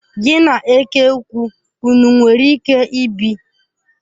Gi na eke ukwu ụnụ nwere ike ibi?